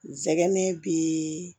Zɛgɛnɛ bii